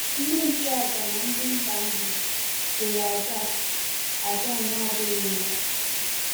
Ndị nchụàjà na ndị mba ahụ chụrụ àjà a àjà a na-adịghị mma.